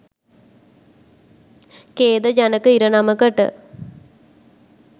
ඛේදජනක ඉරණමකට